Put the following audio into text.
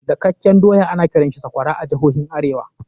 Dakakken doya ana kiransa sakwara a jihohin arewa.